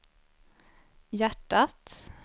hjärtat